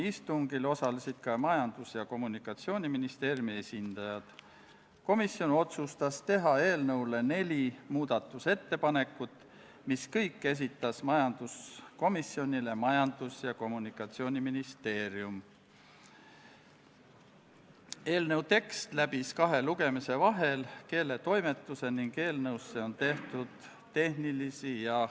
Lisaks otsustas riigikaitsekomisjon konsensuslikult, et Riigikogule tehakse ettepanek teine lugemine lõpetada ning Riigikogu kodu- ja töökorra seaduse §-le 109 tuginedes eelnõu lõpphääletusele panna ja Riigikogu otsusena vastu võtta.